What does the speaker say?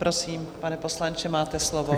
Prosím, pane poslanče, máte slovo.